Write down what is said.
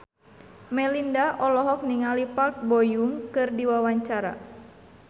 Melinda olohok ningali Park Bo Yung keur diwawancara